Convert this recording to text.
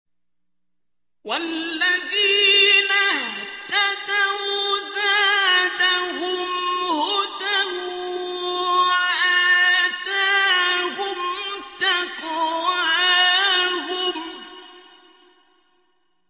وَالَّذِينَ اهْتَدَوْا زَادَهُمْ هُدًى وَآتَاهُمْ تَقْوَاهُمْ